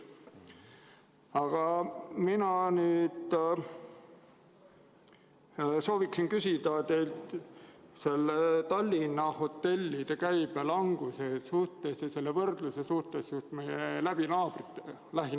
Aga mina soovin küsida teilt Tallinna hotellide käibe languse kohta ja võrdluse kohta just meie lähinaabritega.